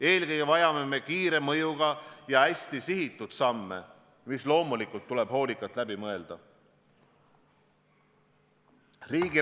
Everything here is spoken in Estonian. Eelkõige vajame kiire mõjuga ja hästi sihitud samme, mis loomulikult tuleb hoolikalt läbi mõelda.